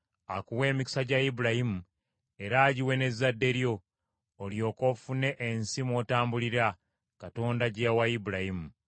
Akuwe emikisa gya Ibulayimu, era agiwe n’ezzadde lyo, olyoke ofune ensi mw’otambulira, Katonda gye yawa Ibulayimu.”